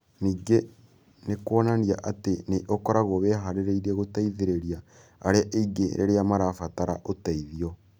Ningĩ nĩ kuonanagia atĩ nĩ ũkoragwo wĩhaarĩirie gũteithĩrĩria arĩa angĩ rĩrĩa marabatara ũteithio.